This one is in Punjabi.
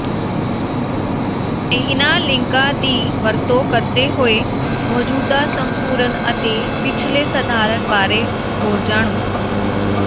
ਇਹਨਾਂ ਲਿੰਕਾਂ ਦੀ ਵਰਤੋਂ ਕਰਦੇ ਹੋਏ ਮੌਜੂਦਾ ਸੰਪੂਰਨ ਅਤੇ ਪਿਛਲੇ ਸਧਾਰਨ ਬਾਰੇ ਹੋਰ ਜਾਣੋ